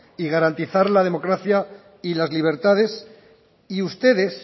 y garantizar la democracia y las libertades y ustedes